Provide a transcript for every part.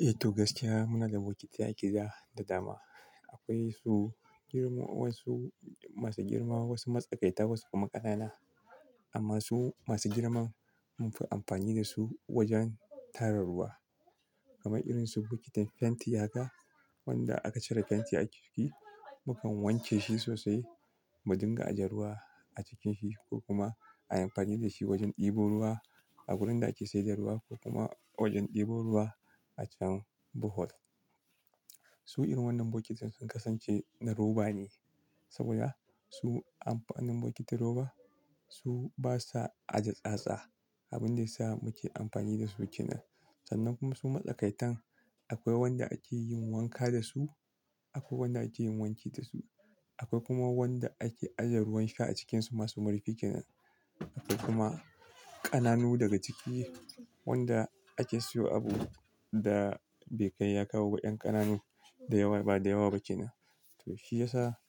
Eh to gaskiya muna da bokitai a gida da dama. Akwai su jirma wasu masu girma wasu matsakaita wasu kuma ƙanana. Amma su masu girman munfi amfani dasu wajen tara ruwa kamar irin su bokitin fenti haka wanda aka cire fenti a ciki mukan wanke shi sosai mu dinga aje ruwa a cikinsa ko kuma a yi amfani da shi wajen ɗebo ruwa a wurin da ake sayar da ruwa ko kuma wajen ɗebo ruwa a can buhol. Su irin wannan bokitan sun kasance na roba ne saboda su amfanin bokitin roba su basa ajiye tsatsa abin da ya sa muke amfani dasu kenan sannan kuma su matsakaitan akwai wanda ake yin wanka dasu akwai wanda ake yin wanki dasu akwai kuma wanda ake ajiye ruwan sha a cikinsu masu murfiƙina akwai kuma ƙananu daga ciki wanda ake siyo abu da bekai ya kawo wa ƴan ƙananu da yawa ba da yawa ba ke nan. To shi ya sa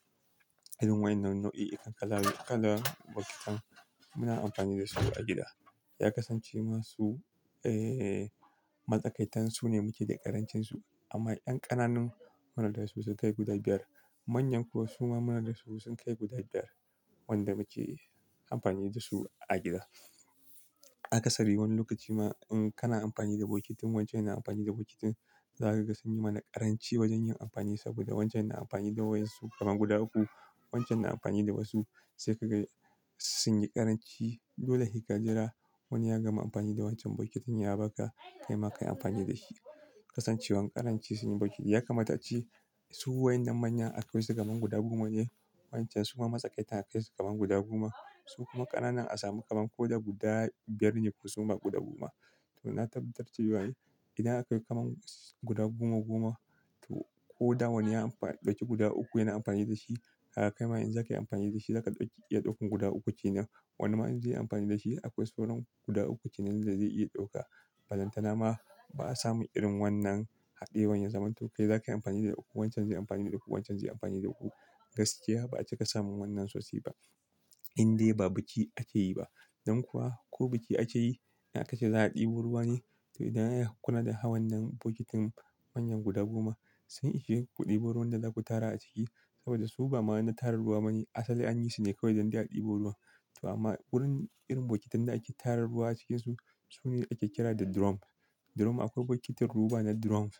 irin waɗannan nau'i iri ƙalavi ƙalar bokitan muna amfani da su a gida ya kasance masu eh matsakaitan su ne muke da ƙarancin su amma ƴan ƙananun munada su su kai guda biyar manyan kuwa suma munada su sun kai guda biyar wanda muke amfani da su a gida. Akasari wani lokaci ma in kana amfani da bokitin wancan yana amfani da bokitin zaka ga sun yi mana ƙaranci wajen yin amfani saboda wancan yana amfani da waɗansu kamar guda uku wancan yana amfani da wasu sai kaga sun yi ƙaranci. Dole he kajira wani ya gama amfani da wancan bokitin ya baka kaima ka yi amfani da shi. Kasancewan ƙarancin sun yi bokitin ya kamata ce su waɗannan manyan akwai su kamar guda goma ne wancan suma matsakaitan akwai su kamar guda goma su kuma ƙananan a samu kamar ko da guda biyar ne ko suma guda goma. To na tabbatarce wa yayi idan akwai kamar guda goma goma to ko da wani ya amfa ɗauki guda uku yana amfani da shi har kai ma in za ka yi amfani da shi za ka ɗauki iya ɗaukan guda uku ce nan wani man zai yi amfani da shi akwai sauran guda uku ke nan da zai iya ɗauka. Ballantana ma ba'a samu irin wannan haɗewar ya zama to kai zaka yi amfani da uku wancan zai yi amfani da uku wancan zai yi amfani da uku. Gaskiya ba'a cika samun wannan sosai ba in dai ba biki ake yi ba. Dan kuwa ko biki ake yi in aka ce za a ɗebo ruwa ne to idan aka kula da ha wannan bokitin manyan guda goma sun ishe ku ɗebo ruwan da za ku tara a ciki saboda su ba ma'aunin tarar ruwa ba ne asali anyi su ne kawai don dai a ɗebo ruwa. To amma wurin irin bokitan da ake tara ruwa a cikinsu su ne ake kira da drum. Drum akwai bokitin roba na drums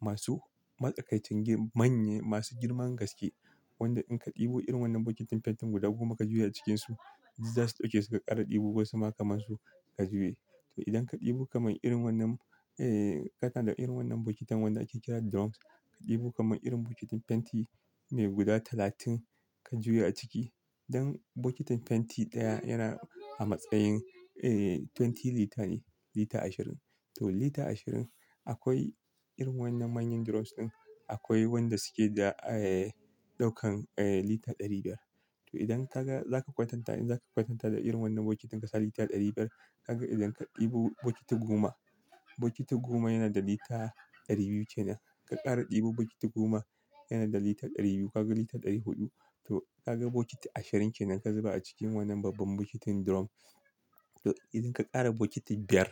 masu matsakaicin girman manya masu girman gaske wanda in ka ɗebo irin wannan bokitin fentin guda goma ka juya a cikinsu zasu ɗauke suka ƙara ɗebo ko suna kamar su ka juya. To idan ka ɗebo kamar irin wannan eh kana da irin wannan bokitan wanda ake kira drums ka ɗebo kamar irin bokitin fenti mai guda talatin ka juya a ciki. Dan bokitin fenti ɗaya yana a matsayin eh 20 lita ne lita ashirin. To lita ashirin akwai irin wannan manyan drums ɗin akwai wanda suke da eh ɗaukan eh lita ɗari biyar. To idan ka ga za ka kwatanta in za ka kwatanta da irin wannan bokitin ka sa lita ɗari biyar ka ga idan ka ɗebo bokiti goma bokiti goma yana da lita ɗari biyu ke nan ka ƙara ɗebo bokiti goma yana da lita ɗari biyu ka ga lita ɗari huɗu. To ka ga bokiti ashirin ke nan ka zuba a cikin wannan babban bokitin drum to idan ka ƙara bokitin biyar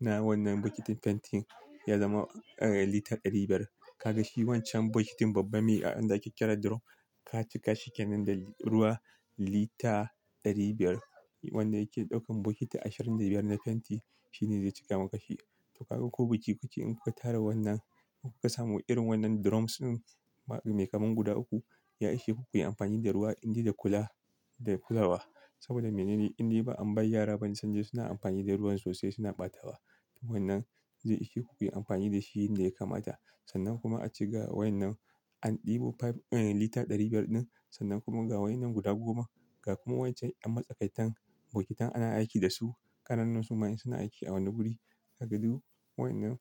na wannan bokitin fentin ya zama eh lita ɗari biyar. Ka ga shi wancan bokitin babba me a inda ake kira drum ka cika shi ke nan da ruwa lita ɗari biyar wanda yake ɗaukan bokiti ashirin da biyar na fenti shi ne zai cika masa shi. To ka ga ko biki ku ke in ku ka tara wannan ku ka samu irin wannan drums ɗin mai kamar guda uku ya ishe ku ku yi amfani da ruwa in dai da kula da kula ba. Saboda me ne? In dai ba an bai yara ba sanje suna amfani da ruwan sosai suna ɓatawa. To wannan zai ishe ku ku yi amfani da shi yanda ya kamata. Sannan kuma a ci ga wannan an ɗebo five eh lita ɗari biyar ɗin sannan kuma ga wannan guda goma ga kuma wancan an matsakaitan bokitan ana aiki da su ƙananun suma suna aiki a wani guri a gado. Wannan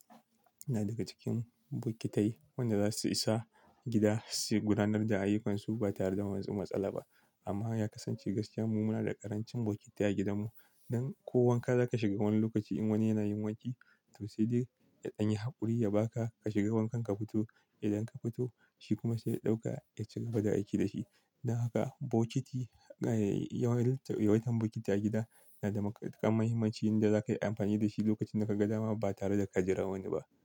yana daga cikin bokitai wanda za su isa gida su gudanar da ayyukansu ba tare da wanzu matsala ba. Amma ya kasance gaskiya mu muna da ƙarancin bokitai a gidanmu. Dan ko wanka za ka shiga wani lokaci in wani yana yin wanki to sai dai ya ɗan yi haƙuri ya baka ka shiga wankan ka fito idan ka fito shi kuma sai ya ɗauka ya ciga bada aiki da shi. Dan haka bokiti eh yawan yawan bokiti a gida yana da mahimmanci inda za ka yi amfani da shi lokacin da ka ga dama ba tare da ka jira wani ba.